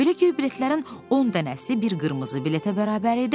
Belə göy biletlərin 10 dənəsi bir qırmızı biletə bərabər idi.